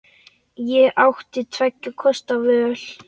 Ég átti tveggja kosta völ.